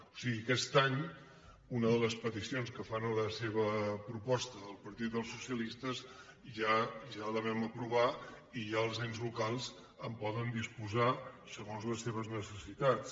o sigui aquest any una de les peticions que fa en la seva proposta el partit dels socialistes ja la vam aprovar i ja els ens locals en poden disposar segons les seves necessitats